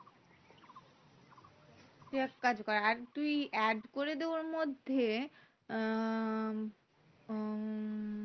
তুই এক কাজ কর আর তুই add করে দে ওর মধ্যে উম আহ